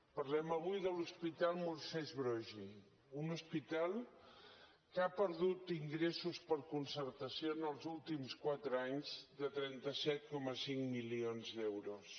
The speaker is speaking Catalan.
parlem avui de l’hospital moisès broggi un hospital que ha perdut ingressos per concertació en els últims quatre anys de trenta set coma cinc milions d’euros